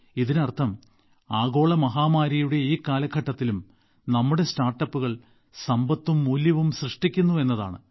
ഇതിനർത്ഥം ആഗോള മഹാമാരിയുടെ ഈ കാലഘട്ടത്തിലും നമ്മുടെ സ്റ്റാർട്ടപ്പുകൾ സമ്പത്തും മൂല്യവും സൃഷ്ടിക്കുന്നു എന്നതാണ്